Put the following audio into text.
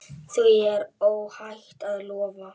Því er óhætt að lofa.